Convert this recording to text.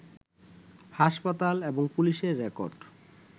হাসপাতাল, এবং পুলিশের রেকর্ড